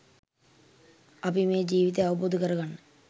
අපි මේ ජීවිතය අවබෝධ කරගන්න